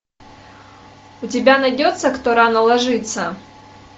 у тебя найдется кто рано ложится